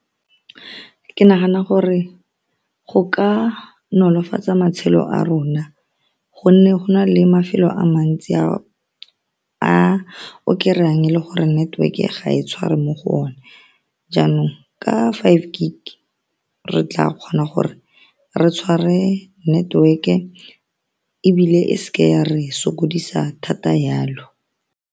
Ke nagana gore go ka nolofatsa matshelo a rona, ka gonne go na le mafelo a mantsi a o kry-ang e le gore network-e ga e tshware mo go one. Jaanong ka five gig re tla kgona gore re tshware network-e ebile e se ke ya re sokodisa thata yalo.